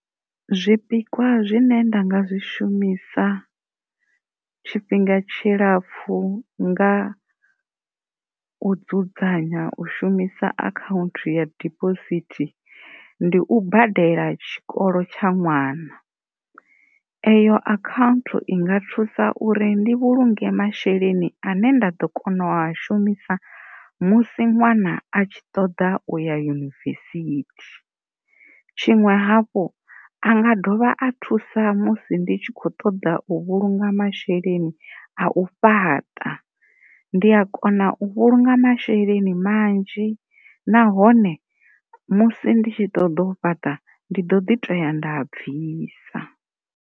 Zwipikwa zwine nda nga zwi shumisa tshifhinga tshilapfhu nga u dzudzanya u shumisa akhanthu ya debosithi ndi u badela tshikolo tsha ṅwana eyo akhanthu i nga thusa uri ndi vhulunge masheleni ane nda ḓo a shumisa musi ṅwana a tshi ṱoḓa u ya yunivesithi, tshiṅwe hafhu anga dovha athusa musi ndi tshi kho ṱoḓa masheleni a u fhaṱa ndi a kona u vhulunga masheleni manzhi nahone musi ndi tshi ṱoḓa u fhaṱa ndi ḓo ḓi toya nda a bvisa.